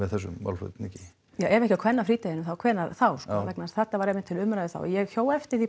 þessum málflutningi ef ekki á kvennafrídeginum hvenær þá þetta var einmitt til umræðu þá ég hjó eftir því